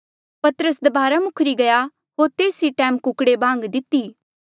पतरस दबारा मुखरी गया होर तेस ई टैम कुकड़े बांग दिती